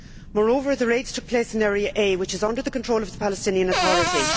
Moreover, the raids took place in Area A, which is under the control of the Palestinian authority.